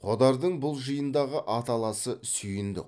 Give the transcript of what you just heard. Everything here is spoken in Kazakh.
қодардың бұл жиындағы аталасы сүйіндік